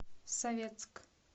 советск